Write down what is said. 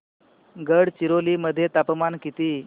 गडचिरोली मध्ये तापमान किती